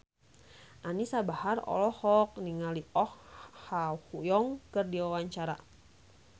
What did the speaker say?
Anisa Bahar olohok ningali Oh Ha Young keur diwawancara